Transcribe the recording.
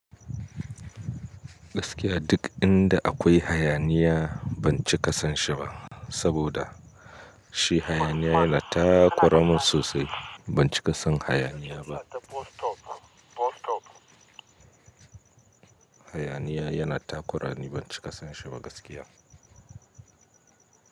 Gaskiya duk inda akwai hayaniya ban ci ka sanshi ba, saboda shi hayaniya yana takuramin sosai. Ban ci ka san hayaniya ba. Hayaniya yana takurani, ban ci ka sanshi ba gaskiya.